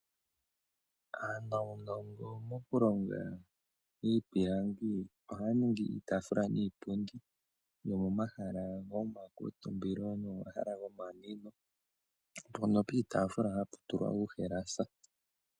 Aanuunongo mokulonga iipilangi, ohaya ningi iitaafula niipundi yomomahala goma kuuntumbilo, nomomahala gomanwino, mpono piitafula hapu tulwa uuhalasa.